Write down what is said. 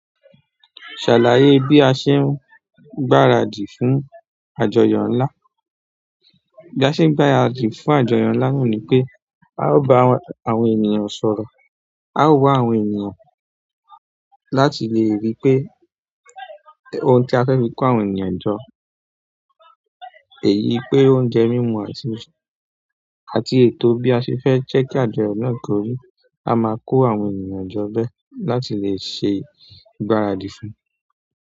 Ṣàlàyé bí a ṣe ń gbáradì fún àjọyọ̀ ńlá. Bí a ṣe ń gbáradì fún àjọyọ̀ ńlá o ni pé a ó ba àwọn ènìyàn sọ̀rọ̀, a ó wá àwọn ènìyàn láti lè ríi pé ohun tí a fẹ́ fi kó àwọn ènìyàn jọ, èyí pé oúnjẹ mímu àti, àti ètò bí a ṣe fẹ́ jẹ́ kí àjọyọ̀ náà kórí. A máa kó àwọn ènìyàn jọ bẹ́ẹ̀ láti lè ṣe ìgbáradì fún un.